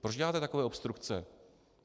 Proč děláte takové obstrukce?